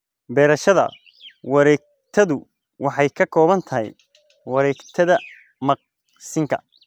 Beerashada wareegtadu waxay ka kooban tahay wareegtada maqsinka.